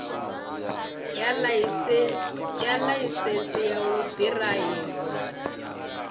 ya ḽaisentsi ya u ḓiraiva